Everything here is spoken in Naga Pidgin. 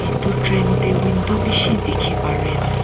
etu train teh window bishi dikhi pari as--